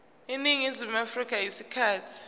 eningizimu afrika isikhathi